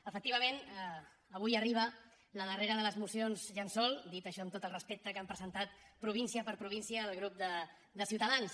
efectivament avui arriba la darrera de les mocions llençol dit això amb tot el respecte que han presentat província per província el grup de ciutadans